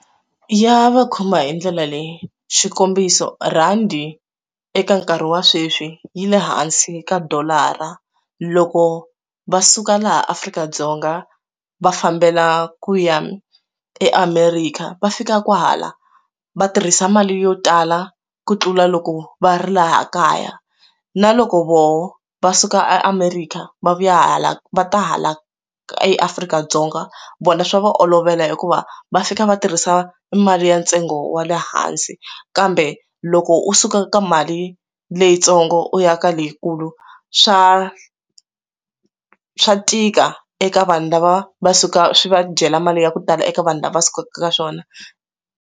Ya va khoma hi ndlela leyi swikombiso rhandi eka nkarhi wa sweswi yile hansi ka dolara loko va suka laha Afrika-Dzonga va fambela ku ya eAmerika va fika kwala va tirhisa mali yo tala ku tlula loko va ri laha kaya na loko voho va suka America va vuya hala va ta hala eAfrika-Dzonga vona swa va olovela hikuva va fika va tirhisa mali ya ntsengo wa le hansi kambe loko u suka ka mali leyitsongo u ya ka leyikulu swa swa tika eka vanhu lava va suka swi va dyela mali ya ku tala eka vanhu lava sukaka eka swona.